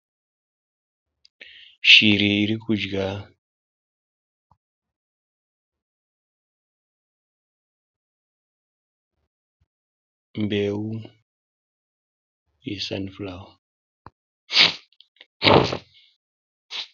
Shiri iri kudya mbeu yesanifurawa.